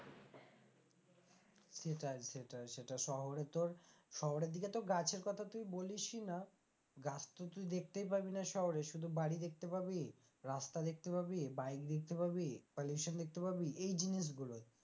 সেটাই সেটাই সেটা শহরে তোর শহরে দিকে তো গাছের কথা তুই বলিসই না গাছ তো তুই দেখতেই পাবি না শহরে শুধু বাড়ি দেখতে পাবি রাস্তা দেখতে পাবি বাড়ি দেখতে পাবি pollution দেখতে পাবি এই জিনিসগুলোই,